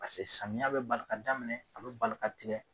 Paseke samiya bi bali ka daminɛ a bi bali ka tigɛ